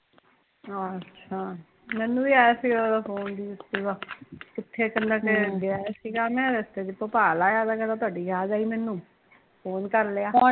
ਅੱਛਾ, ਮੈਂਨੂੰ ਵੀ ਆਇਆ ਸੀਗਾ ਓਹਦਾ ਫ਼ੋਨ ਦੀਪੁ ਦਾ ਕਹਿਦਾ ਮੈਂ ਕਿਹਾ ਕਿੱਥੇ ਐ ਕਹਿਦਾ ਕਿ ਆਇਆ ਸੀ ਰਸਤੇ ਚ ਭੋਪਾਲ ਆਇਆ ਵਾਂ ਕਹਿਦਾ ਤਾਹੂਡੀ ਯਾਦ ਆਈ ਮੈਂਨੂੰ ਫ਼ੋਨ ਕਰ ਲਿਆ